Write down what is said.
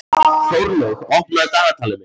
Þórlaug, opnaðu dagatalið mitt.